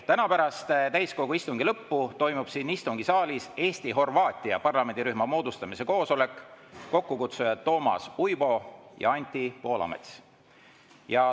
Täna pärast täiskogu istungi lõppu toimub siin istungisaalis Eesti-Horvaatia parlamendirühma moodustamise koosolek, kokkukutsujad Toomas Uibo ja Anti Poolamets.